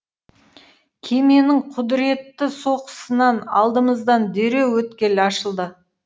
кеменің құдіретті соққысынан алдымыздан дереу өткел ашылды